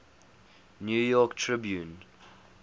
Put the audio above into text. new york tribune